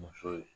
Muso ye